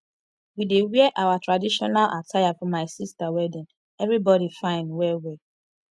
we dey wear our traditional attire for my sister wedding everybody fine well well